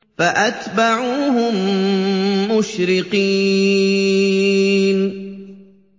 فَأَتْبَعُوهُم مُّشْرِقِينَ